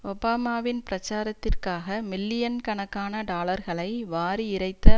ஒபாமாவின் பிராச்சாரத்திற்காக மில்லியன்கணக்கான டாலர்களை வாரி இறைத்த